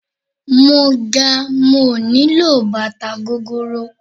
Mo ga mi ò nílò bàtà gogoro.